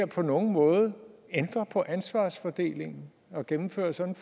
på nogen måde ændre på ansvarsfordelingen at gennemføre sådan